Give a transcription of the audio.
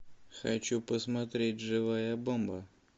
хочу посмотреть живая бомба